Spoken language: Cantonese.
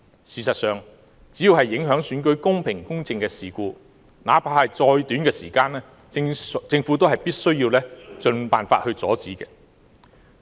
事實上，只要是影響選舉公平、公正的事故，那怕是再短的時間，政府也必須盡辦法阻止。